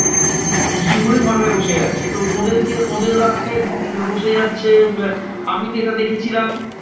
কিছু হলেই ধর্নায় বসে যাচ্ছে। তো ওদেরকে ওদের রাস্তায় বসে যাচ্ছে আমিতো এটা দেখেছিলাম